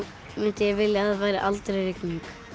mundi ég vilja að væri aldrei rigning